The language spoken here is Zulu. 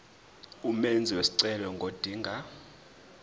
umenzi wesicelo ngodinga